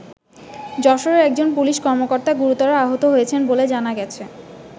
যশোরে একজন পুলিশ কর্মকর্তা গুরুতর আহত হয়েছেন বলে জানা গেছে।